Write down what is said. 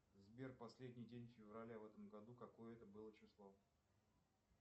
сбер последний день февраля в этом году какое это было число